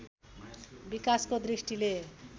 विकासको दृष्टिले